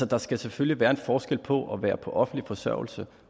der skal selvfølgelig være en forskel på at være på offentlig forsørgelse